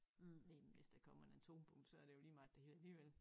Men hvis der kommer en atombombe så er det jo lige meget det hele alligevel